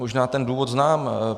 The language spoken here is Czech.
Možná ten důvod znám.